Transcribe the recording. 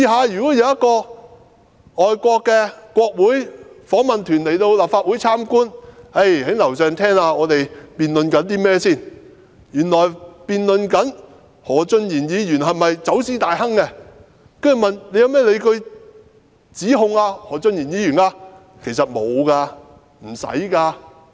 如果有外國國會訪問團前來立法會參觀，在樓上聽到我們正在辯論何俊賢議員是否走私大亨，那他們隨後會問我們，有甚麼證據支持對他提出的指控。